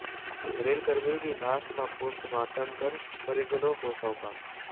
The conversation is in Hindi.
रेलकर्मी की लाश का पोस्टमार्टम कर परिजनों को सौंपा